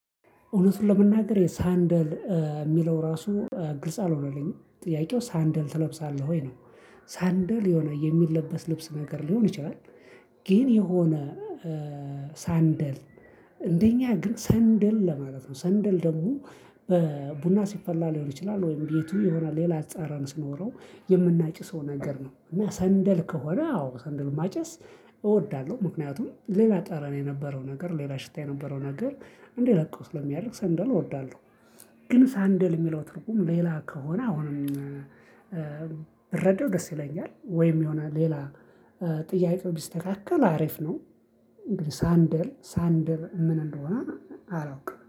እውነቱን ለመናገር የሳንደል የሚለው ራሱ ግልጽ አልሆነልኝም ጥያቄው ሳንደል ትለብሳለህ ወይ ነው? ሳንደል የሆነ የሚለበስ ልብስ ነገር ሊሆን ይችላል። ግን የሆነ ሳንደል እንደኛ ግን ሰንደል ለማለት ነው። ሰንደል ደግሞ በቡና ሲፈላ ሊሆን ይችላል ወይም ቤቱ ይሆናል ሌላ ጸረን ሲኖረው የምናጭሰው ነገር ነው። እና ሰንደል ከሆነ አዎ ሰንደል ማጨስ እወዳለሁ። ምክንያቱም ሌላ ጠረን የነበረው ነገር ሌላ ሽታ የነበረው ነገር እንዲለቀው ስለሚያደርግ ሰንደል እወዳለሁ። ግን ሳንደል የሚለው ትርጉም ሌላ ከሆነ አሁንም ብረዳው ደስ ይለኛል። ወይም የሆነ ሌላ ጥያቄው ቢስተካከል አሪፍ ነው። ሳንደል ሳንደል ምን እንደሆነ አላውቅም